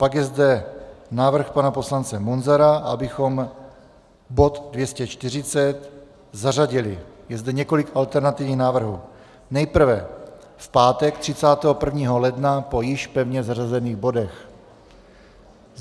Pak je zde návrh pana poslance Munzara, abychom bod 240 zařadili, je zde několik alternativních návrhů - nejprve v pátek 31. ledna po již pevně zařazených bodech.